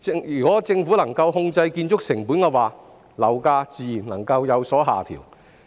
如果政府能夠控制建築成本，樓價自然能夠有所下調。